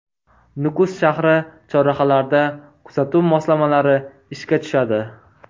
Nukus shahri chorrahalarida kuzatuv moslamalari ishga tushadi.